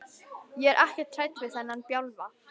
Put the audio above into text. Ég er ekkert hrædd við þennan bjálfa.